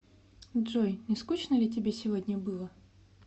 джой не скучно ли тебе сегодня было